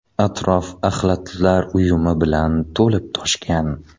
Atrof axlatlar uyumi bilan to‘lib-toshgan.